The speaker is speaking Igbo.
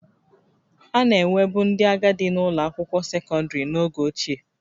A na-enwebu ndị agadi na-ụlọ akwụkwọ sekọndrị n'oge ochie